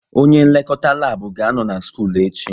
Onye nlekọta lab ga-anọ na skul echi